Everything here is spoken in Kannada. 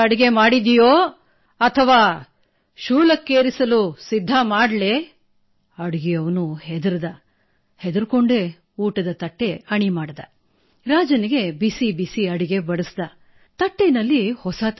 E work with senior citizens